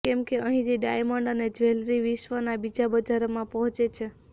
કેમકે અહીંથી ડાયમંડ અને જ્વેલરી વિશ્વના બીજા બજારોમાં પહોંચે છે